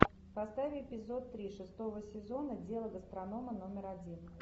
поставь эпизод три шестого сезона дело гастронома номер один